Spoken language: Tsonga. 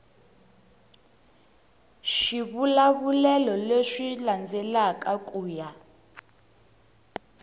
swivulavulelo leswi landzelaka ku ya